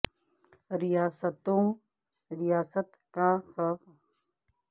ریاست کا خوف شامیوں نے ناقابل اعتماد بنا دیا